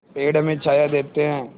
पेड़ हमें छाया देते हैं